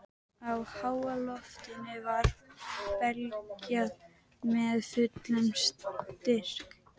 Hún vitnar í yndislegt ljóð eftir Jóhannes úr Kötlum